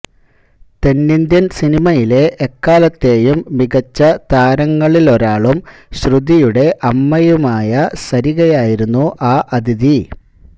തെന്നിന്ത്യന് സിനിമയിലെ എക്കാലത്തെയും മികച്ച താരങ്ങളിലൊരാളും ശ്രുതിയുടെ അമ്മയുമായ സരികയായിരുന്നു ആ അതിഥി